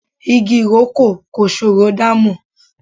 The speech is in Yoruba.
Igi ìrókò kò ṣòro dámọ̀.